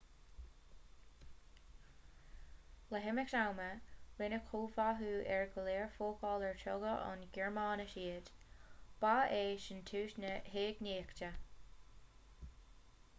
le himeacht ama rinneadh comhtháthú ar go leor focal ar tógadh ón ngearmáinis iad ba é sin tús na heagnaíochta